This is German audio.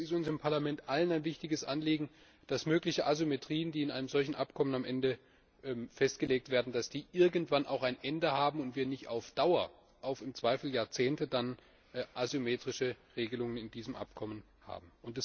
Ich denke, es ist uns im Parlament allen ein wichtiges Anliegen, dass mögliche Asymmetrien, die in einem solchen Abkommen am Ende festgelegt werden, irgendwann auch ein Ende haben und wir nicht auf Dauer im Zweifel Jahrzehnte asymmetrische Regelungen in diesem Abkommen haben.